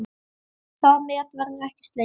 Það met verður ekki slegið.